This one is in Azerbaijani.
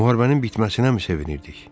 Müharibənin bitməsinəmi sevinirdik?